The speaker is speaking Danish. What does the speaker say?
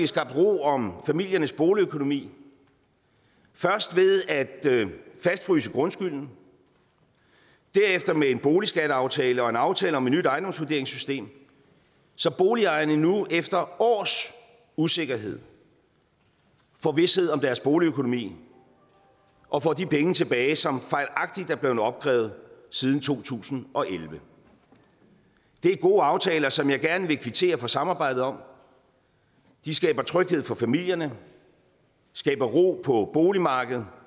skabt ro om familiernes boligøkonomi først ved at fastfryse grundskylden derefter med en boligskatteaftale og en aftale om et nyt ejendomsvurderingssystem så boligejerne nu efter års usikkerhed får vished om deres boligøkonomi og får de penge tilbage som fejlagtigt er blevet opkrævet siden to tusind og elleve det er gode aftaler som jeg gerne vil kvittere for samarbejdet om de skaber tryghed for familierne skaber ro på boligmarkedet